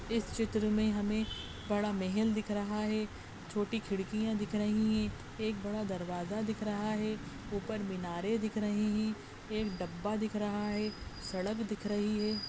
इस चित्र में हमे बड़ा महल दिख रहा है छोटी खिड़कियॉँ दिख रही है एक बड़ा दरवाजा दिख रहा है ऊपर मीनारे दिख रहे है एक डब्बा दिख रहा है सड़क दिख रही है।